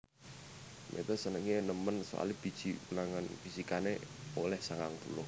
Meta senenge nemen soale biji ulangan fisikane oleh sangang puluh